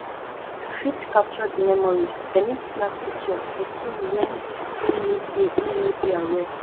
to fit capture di memories dem need snap picture di kin when im no de im no de aware um